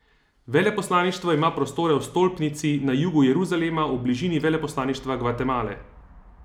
Veleposlaništvo ima prostore v stolpnici na jugu Jeruzalema, v bližini veleposlaništva Gvatemale.